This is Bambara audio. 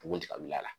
Bugun ti kabil'a la